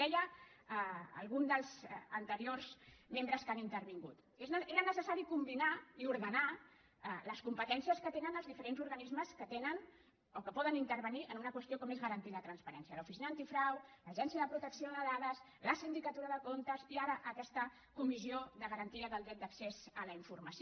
deia algun dels anteriors membres que han intervingut que era necessari combinar i ordenar les competències que tenen els diferents organismes que atenen o que poden intervenir en una qüestió com és garantir la transparència l’oficina antifrau l’autoritat de protecció de dades la sindicatura de comptes i ara aquesta comissió de garantia de dret d’accés a la informació